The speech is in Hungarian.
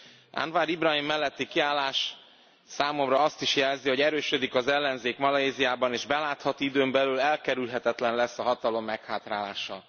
Az Anwar Ibrahim melletti kiállás számomra azt is jelzi, hogy erősödik az ellenzék Malajziában, és belátható időn belül elkerülhetetlen lesz a hatalom meghátrálása.